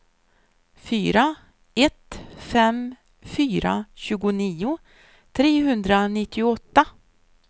fyra ett fem fyra tjugonio trehundranittioåtta